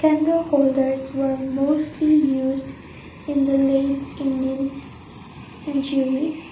candle holders were mostly used in the late indian centuries.